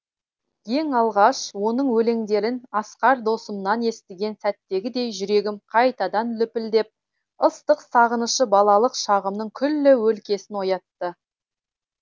ең алғаш оның өлеңдерін асқар досымнан естіген сәттегідей жүрегім қайтадан лүпілдеп ыстық сағынышы балалық шағымның күллі өлкесін оятты